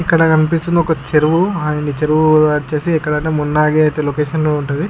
ఇక్కడ కనిపిస్తునది అయతె ఒక చెరువు. ఈ చెరువు అయతె మునర్ లొకేషన్ లో ఉంటాది.